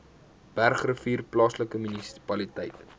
bergrivier plaaslike munisipaliteit